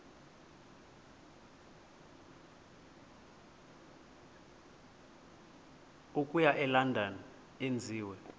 okuya elondon enziwe